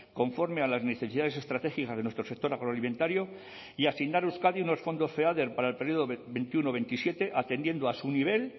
conforme a las necesidades estratégicas de nuestro sector agroalimentario y asignar a euskadi unos fondos feader para el período dos mil veintiuno dos mil veintisiete atendiendo a su nivel